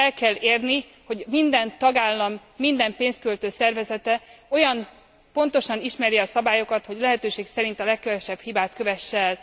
El kell érni, hogy minden tagállam minden pénzköltő szervezete olyan pontosan ismerje a szabályokat, hogy lehetőség szerint a legkevesebb hibát kövesse el.